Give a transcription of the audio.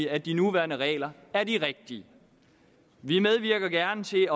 at de nuværende regler er de rigtige vi medvirker gerne til